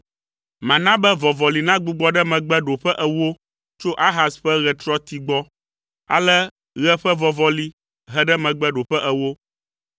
Mana be vɔvɔli nagbugbɔ ɖe megbe ɖoƒe ewo tso Ahaz ƒe ɣetrɔti gbɔ.’ ” Ale ɣe ƒe vɔvɔli he ɖe megbe ɖoƒe ewo.